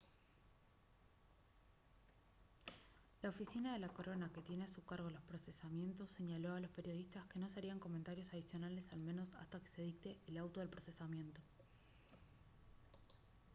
la oficina de la corona que tiene a su cargo los procesamientos señaló a los periodistas que no se harían comentarios adicionales al menos hasta que se dicte el auto de procesamiento